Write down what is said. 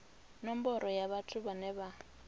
nomboro ya vhathu vhane vha